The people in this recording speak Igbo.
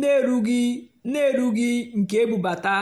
nà-èrúghì́ nà-èrúghì́ nkè ébúbátá.